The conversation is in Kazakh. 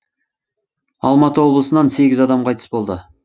алматы облысынан сегіз адам қайтыс болды